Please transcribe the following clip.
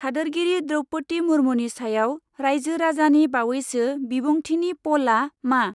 हादोरगिरि द्रौपदि मुर्मुनि सायाव रायजो राजानि बावैसो बिबुंथिनि पलआ मा?